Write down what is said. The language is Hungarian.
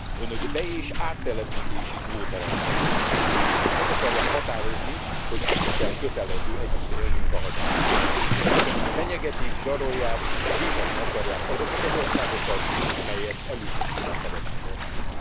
Önök be és áttelepítési kvótarendszert akarnak. Meg akarják határozni, hogy kikkel kötelező együtt élnünk a hazánkban, és Önök fenyegetik, zsarolják, büntetni akarják azokat az országokat, amelyek elutasítják a bevándorlást.